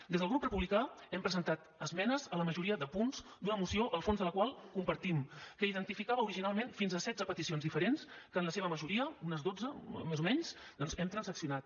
des del grup republicà hem presentat esmenes a la majoria de punts d’una moció el fons de la qual compartim que identificava originalment fins a setze peticions diferents que en la seva majoria unes dotze més o menys hem transaccionat